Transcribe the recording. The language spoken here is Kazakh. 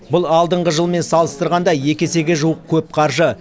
бұл алдыңғы жылмен салыстырғанда екі есеге жуық көп қаржы